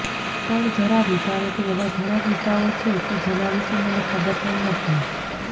પણ જરા વિચારો કે એવા ઘણા કિસ્સાઓ છે કે જેના વિશે મને ખબર પણ નથી